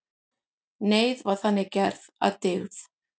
Neyð var þannig gerð að dygð.